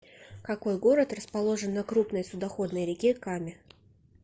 какой город расположен на крупной судоходной реке каме